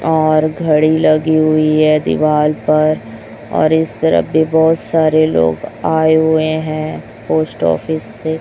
और घड़ी लगी हुई है दीवार पर और इस तरफ भी बहोत सारे लोग आए हुए हैं पोस्ट ऑफिस से--